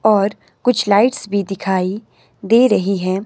और कुछ लाइट्स भी दिखाई दे रही हैं।